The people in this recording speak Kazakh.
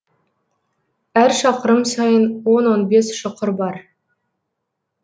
әр шақырым сайын он он бес шұқыр бар